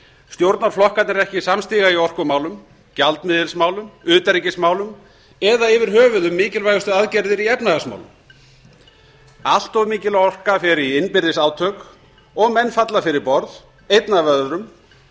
stjórnarflokkarnir eru ekki samstiga í orkumálum gjaldmiðilsmálum utanríkismálum eða yfir höfuð mikilvægustu aðgerðir í efnahagsmálum allt mikil orka fer í innbyrðis átök og menn falla fyrir borð einn af öðrum